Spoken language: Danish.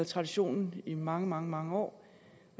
tradition i mange mange mange år